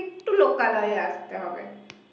একটু লোকালয়ে আসতে হবে